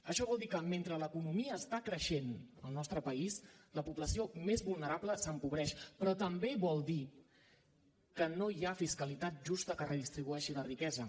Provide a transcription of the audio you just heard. això vol dir que mentre l’economia està creixent al nostre país la població més vulnerable s’empobreix però també vol dir que no hi ha fiscalitat justa que redistribueixi la riquesa